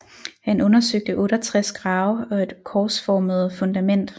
Han undersøgte 68 grave og et korsformede fundament